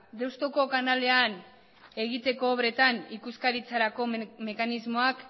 deustuko kanalean egiteko obretan ikuskaritzarako mekanismoak